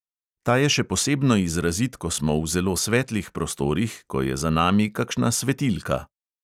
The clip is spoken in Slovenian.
Ta je še posebno izrazit, ko smo v zelo svetlih prostorih, ko je za nami kakšna svetilka.